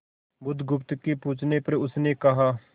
बुधगुप्त के पूछने पर उसने कहा